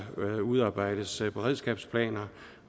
udarbejdes beredskabsplaner